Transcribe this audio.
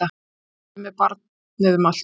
Hlaupandi með barnið um allt!